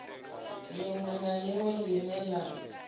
liṅwe na liṅwe line la